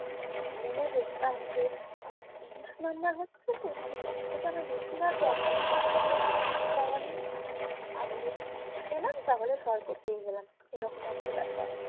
গুনে দেখতাম যে আমার ত্রিশ নাম্বার হচ্ছেতো মানি ওর থেকে আমার বেশি আর দরকার নেই আমার just ত্রিশ পাওয়া নিয়েই থাক আমি যদি ত্রিশ পেলাম তাহলে স্বর্গ পেয়ে গেলাম এই রকম একটা ব্যাপার